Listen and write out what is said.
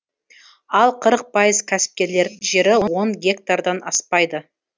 ал қырық пайыз кәсіпкерлердің жері он гектардан аспайды